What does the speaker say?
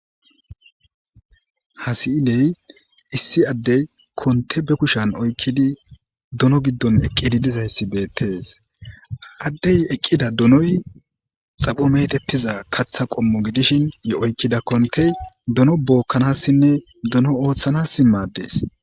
hasi7iley issi addey konte be kushan oykkidi dono giddon eqqidi dizayssi beettees addey eqqida donoy xapho metettiza katha qommo gidishin ye oykkida kontey dono bookkanassinne dono ooththanassi madees